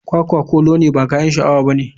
Kwakwa kolo ne ba kayan sha awa bane.